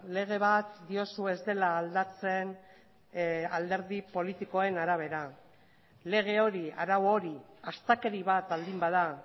lege bat diozu ez dela aldatzen alderdi politikoen arabera lege hori arau hori astakeri bat baldin bada